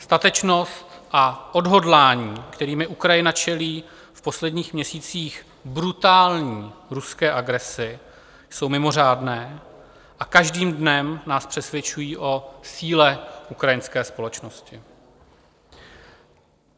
Statečnost a odhodlání, kterými Ukrajina čelí v posledních měsících brutální ruské agresi, jsou mimořádné a každým dnem nás přesvědčují o síle ukrajinské společnosti.